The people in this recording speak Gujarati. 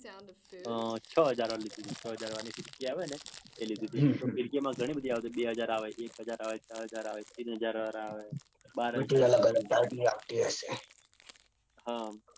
અઅઅ છ હજાર વાર લીધી તી. છ હજાર વારની ફીરકી આવી ને. એ લીધી તી ફિરકીમાં ઘણી બધી આવે બે હજર વાર આવે એક હજાર વાર આવે ચાર હજાર આવે, ત્રણ હજાર વાર આવે, બાર હજાર. હમ